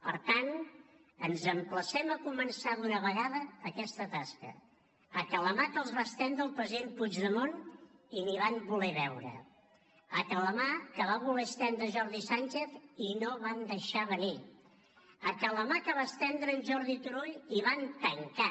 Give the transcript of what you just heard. per tant ens emplacem a començar d’una vegada aquesta tasca a que la mà que els va estendre el president puigdemont i ni van voler veure a que la mà que va voler estendre jordi sànchez i no van deixar venir a que la mà que estendre en jordi turull i van tancar